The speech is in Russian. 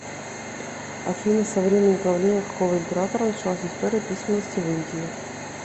афина со времени правления какого императора началась история письменности в индии